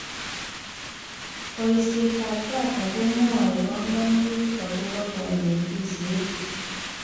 Boishetab data komwoy banganutik akobo konetishet